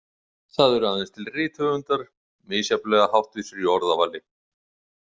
Það eru aðeins til rithöfundar misjafnlega háttvísir í orðavali.